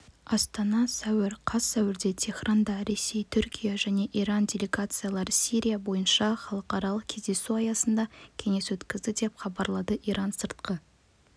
астана сәуір қаз сәуірде теһранда ресей түркия және иран делегациялары сирия бойынша халықаралық кездесу аясында кеңес откізді деп хабарлады иран сыртқы